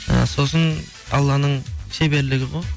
ы сосын алланың шеберлігі ғой